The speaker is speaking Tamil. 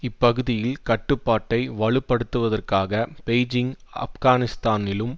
இப்பகுதியில் கட்டுப்பாட்டை வலுப்படுத்துவதற்காக பெய்ஜிங் ஆப்கானிஸ்தானிலும்